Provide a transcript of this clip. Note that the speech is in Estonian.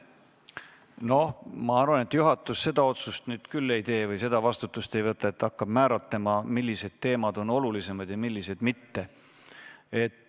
Ma arvan, et juhatus seda otsust nüüd küll ei tee või seda vastutust ei võta, et hakkab määratlema, millised teemad on olulised ja millised mitte.